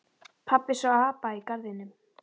Pabbi sá apa í garðinum.